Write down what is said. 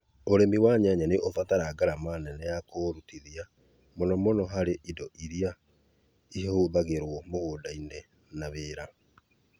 ũrĩma wa nyanya nĩ ubataraga ngarama nene ya kũũrutithia, mũno mũno harĩ indo iria ihũthagĩrũo mũgũnda-inĩ na wĩra.